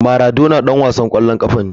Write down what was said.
Maradona ɗan wasan ƙwallon ƙafa ne.